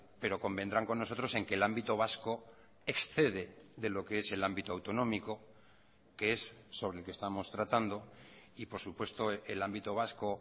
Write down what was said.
pero convendrán con nosotros en que el ámbito vasco excede de lo que es el ámbito autonómico que es sobre el que estamos tratando y por supuesto el ámbito vasco